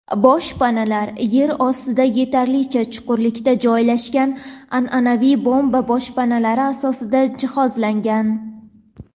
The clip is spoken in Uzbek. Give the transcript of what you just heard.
Boshpanalar yer ostida yetarlicha chuqurlikda joylashgan an’anaviy bomba boshpanalari asosida jihozlangan.